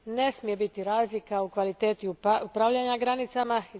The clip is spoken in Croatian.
Ne smije biti razlika u kvaliteti upravljanja granicama.